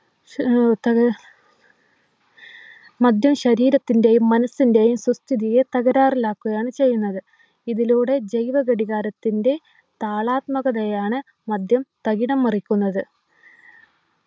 ആഹ് മദ്യം ശരീരത്തിൻ്റെയും മനസ്സിൻ്റെയും സ്വസ്ഥിതിയെ തകരാറിലാക്കുകയാണ് ചെയ്യുന്നത് ഇതിലൂടെ ജൈവ ഘടികാരത്തിൻ്റെ താളാത്മകതയെയാണ് മദ്യം തകിടം മറിക്കുന്നത്